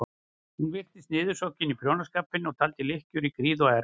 Hún virtist niðursokkin í prjónaskapinn og taldi lykkjur í gríð og erg.